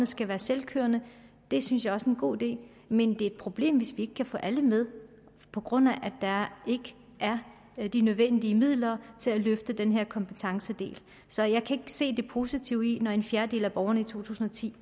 skal være selvkørende det synes jeg også er en god idé men det er et problem hvis vi ikke kan få alle med på grund af at der ikke er de nødvendige midler til at løfte den her kompetencedel så jeg kan se det positive i det når en fjerdedel af borgerne i to tusind og ti